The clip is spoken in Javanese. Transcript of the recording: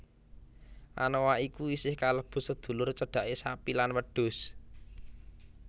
Anoa iku isih kalebu sedulur cedhake sapi lan wedhus